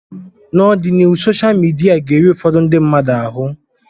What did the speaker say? N'ọdịnihu sosha midia ga-eri ụfọdụ ndị mmadụ ahụ